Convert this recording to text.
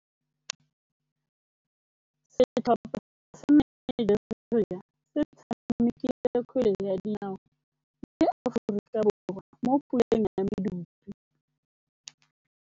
Setlhopha sa Nigeria se tshamekile kgwele ya dinaô le Aforika Borwa mo puleng ya medupe.